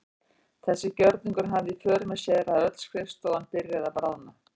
Þessi gjörningur hafði í för með sér að öll skrifstofan byrjaði að bráðna.